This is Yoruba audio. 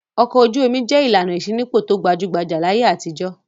Ọkọ̀ ojú-omi jẹ́ ìlànà ìṣínípò tó gbajú-gbajà láyé àtijọ́.